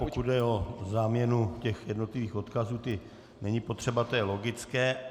Pokud jde o záměnu těch jednotlivých odkazů, ty není potřeba, to je logické.